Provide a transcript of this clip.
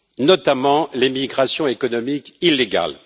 notamment l'émigration économique illégale.